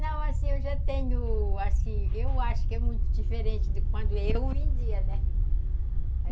Não, assim, eu já tenho, assim, eu acho que é muito diferente de quando eu vendia, né?